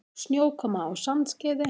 Snjókoma á Sandskeiði